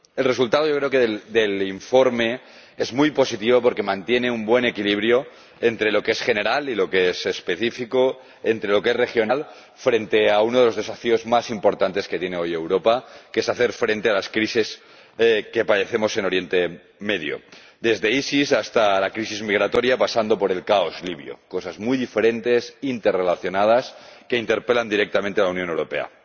El resultado del informe es muy positivo porque mantiene un buen equilibrio entre lo que es general y lo que es específico, entre lo que es regional y lo que es nacional, frente a uno de los desafíos más importantes que tiene hoy Europa, que es hacer frente a las crisis que padecemos en Oriente Próximo desde el EIIL hasta la crisis migratoria, pasando por el caos libio, cosas muy diferentes, interrelacionadas, que interpelan directamente a la Unión Europea.